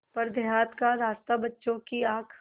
पर देहात का रास्ता बच्चों की आँख